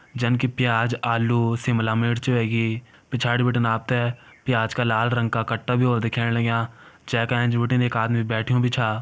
जन कि प्याज आलू शिमलामिर्च ह्वेगी पिछाड़ी बिटिन आपतैं प्याज का लाल रंग का कट्टा भी व्होला दिखेण लग्यां जेंका ऐंच बिटिन एक आदमी बैठ्यूं भी छ।